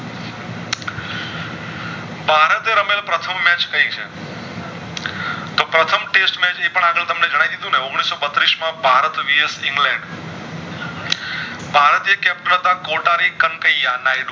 ભારતે રમેલ પ્રથમ match કય છે તો પ્રથમ test match એ પણ આગળ તમને જણાય દીધું ને ઓગણીસો બત્રીશ માં ભારત vs ઇંગ્લેન્ડ ભારતે કોટા ની